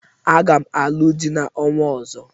Aga m alụ di n'ọnwa ọzọ.